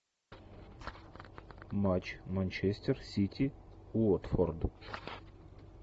матч манчестер сити уотфорд